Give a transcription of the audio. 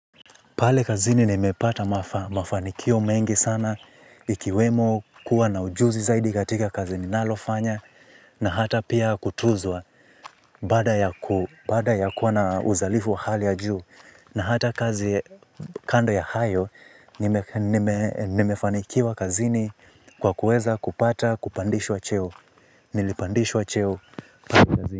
Pale kazini nimepata mafanikio mengi sana ikiwemo kuwa na ujuzi zaidi katika kazi ninalofanya na hata pia kutuzwa baada ya kuwa na uzalifu wa hali ya juu na hata kazi kando ya hayo nimefanikiwa kazini kwa kuweza kupata kupandishwa cheo. Nilipandishwa cheo pale kazini.